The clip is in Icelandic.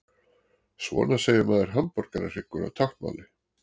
Svona segir maður hamborgarhryggur á táknmáli.